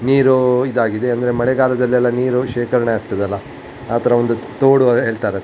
ನೀರು ಇದಾಗಿದೆ ಅಂದ್ರೆ ಮಳೆಗಾಲದಲ್ಲಿ ನೀರು ಎಲ್ಲ ಶೇಖರಣೆ ಆಗ್ತದಲ್ಲ ಆ ತರ ಒಂದು ತೋಡು ಹೇಳ್ತಾರೆ --